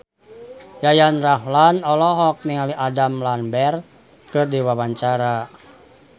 Yayan Ruhlan olohok ningali Adam Lambert keur diwawancara